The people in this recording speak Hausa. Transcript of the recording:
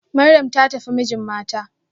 Maryam ta tafi mijin mata